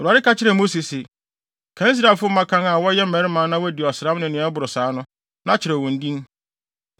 Awurade ka kyerɛɛ Mose se, “Kan Israelfo mmakan a wɔyɛ mmarima na wɔadi ɔsram ne nea ɛboro saa no, na kyerɛw wɔn din.